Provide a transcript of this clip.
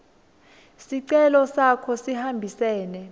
sicelo sakho sihambisene